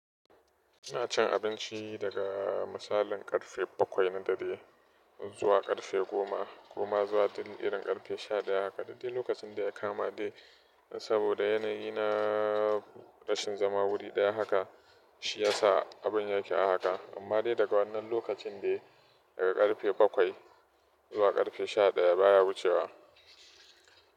Ina cin abinci daga misalin karfe bakwai na dare zuwa ƙarfe goma, koma zuwa irin ƙarfe sha ɗaya haka. Duk dai lokacin da ya kama dai saboda yanayi na rashin zama wuri ɗaya haka, shi ya sa abun ya ke a haka. Amma dai daga wannan lokacin dai daga ƙarfe bakwai zuwa karfe sha ɗaya baya wucewa.